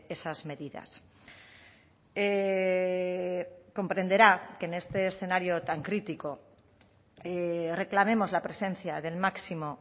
esas medidas comprenderá que en este escenario tan crítico reclamemos la presencia del máximo